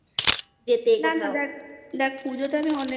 যেতে কোথাও দেখ পুজোতে আমি